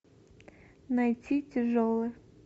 найти тяжелы